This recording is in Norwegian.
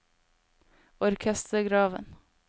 orkestergraven